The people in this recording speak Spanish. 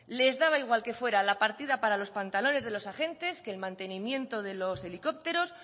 les daba igual que fuera la partida para los pantalones de los agentes que el mantenimiento de los helicópteros